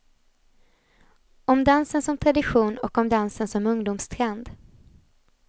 Om dansen som tradition och om dansen som ungdomstrend.